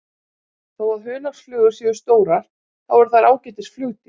Þó að hunangsflugur séu stórar þá eru þær ágætis flugdýr.